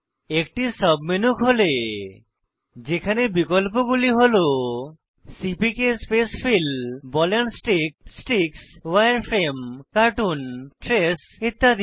একটি submenu খোলে যেখানে বিকল্পগুলি হল CPK spacefill ball and stick sticks উয়ারফ্রেমে কার্টুন ট্রেস ইত্যাদি